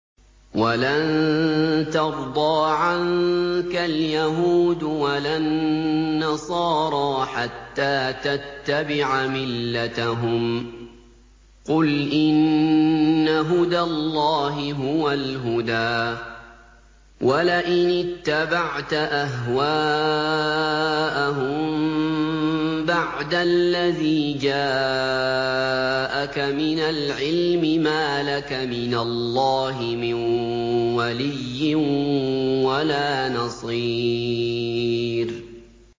وَلَن تَرْضَىٰ عَنكَ الْيَهُودُ وَلَا النَّصَارَىٰ حَتَّىٰ تَتَّبِعَ مِلَّتَهُمْ ۗ قُلْ إِنَّ هُدَى اللَّهِ هُوَ الْهُدَىٰ ۗ وَلَئِنِ اتَّبَعْتَ أَهْوَاءَهُم بَعْدَ الَّذِي جَاءَكَ مِنَ الْعِلْمِ ۙ مَا لَكَ مِنَ اللَّهِ مِن وَلِيٍّ وَلَا نَصِيرٍ